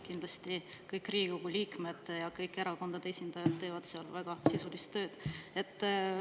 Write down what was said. Kindlasti kõik Riigikogu liikmed ja kõik erakondade esindajad teevad seal väga sisulist tööd.